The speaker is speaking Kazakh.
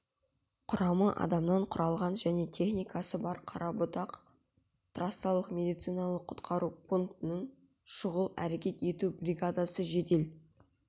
құрамы адамнан құралған және техникасы бар қарабұтақ трассалық медициналық құтқару пунктінің шұғыл әрекет ету бригадасы жедел